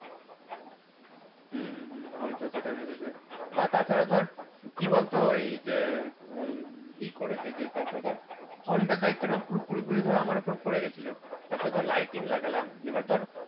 হয়তো সেটা ভেবেছে বা তাছাড়া ধর কি বলতো ওই যে ওই কি করেছে যে তারপর ধর honda দায়িত্বটা পুরোপুরি ধর আমার উপর পড়ে গেছিল তারপর তার lighting লাগালাম এবার ধর